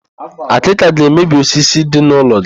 Akịka ga-emebi osisi dị n'ụlọ gị.